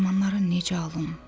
Dərmanları necə alım?